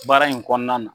Baara in kɔnɔna na